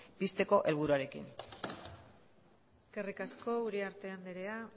pizteko helburuarekin eskerrik asko uriarte anderea